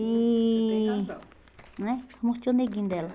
E... Você tem razão. Não é? Eu mostrei o neguinho dela.